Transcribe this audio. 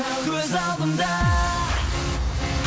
көз алдымда